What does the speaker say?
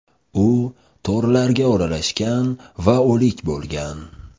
U to‘rlarga o‘ralashgan va o‘lik bo‘lgan.